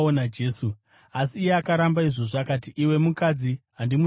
Asi iye akaramba izvozvo akati, “Iwe mukadzi, handimuzivi ini.”